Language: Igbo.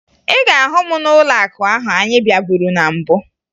Ị ga-ahụ m n'ụlọakụ ahụ anyị bịaburu na mbụ